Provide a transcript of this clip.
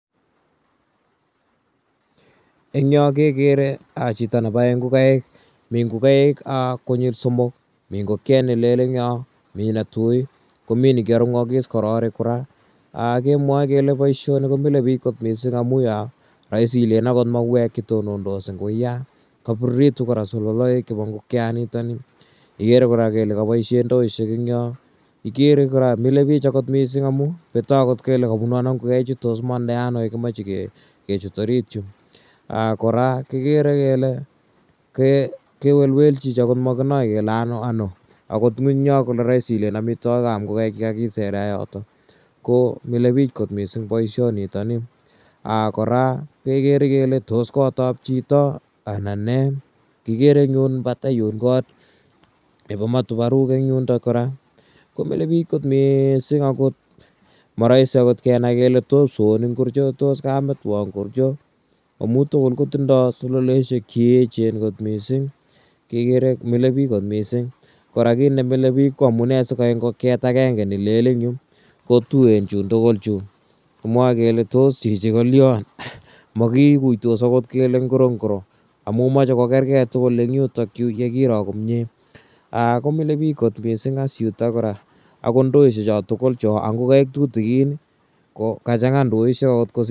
Eng' yo kekere chito nepae ngokaik. Mi ngokaik konyil somok. Mi ngokiet ne lel ebg' yo, mi ne tui ak komi ne kiarung'is kororiik kora. Kemwae kele poishoni ko mile pich missing' amu ya raisi ilen akot mauek che tonondos eng' wuya. Kapirirtu kora sololaek chepo ngokianitani, ikere kora kele kapoishe ndoishek eng' yo , ikere kora mile pich akot missing' amu petwa akot kole kapunu ano ngokaichu tos kimandae ano ye kimache kechut orit yu. Kora kikere kele kewelwel chichi ma kinae kele ano ano. Akot ng'uny kole raisi ilen amitwogik ap ngokaik che ka kisere yotok ko mile pich missing' poishonitani. Kora ke kere kele tos kot ap chito anan ne? Kikere eng' yun patai yun kot nepo matuparuk eng' yundok kora. Ko mile kot missing' ako ma raisi kenai kole tos kipsoonik ngorcho ko tos kametwek ngorcho amu tugul ko tindai sololoeshek che echen kot missing',kekere mile pich kot missing'. Kora kiit ne mile pich ko amune si kaek ngokiet agenge ne lel eng' yu ko tuen chun tugul chun. Kimwae kele tos chichi ko lian, maki guitos akot kele ngoro ngoro amu mache kokergei tugul eng' yutakyu ye kiro komye, ko mile pich missing' yutok kora. Akot ndoishek cha tugul cho ak ngokaik tutikin ko ka chang'a ndoishek akot kosir ngokaik.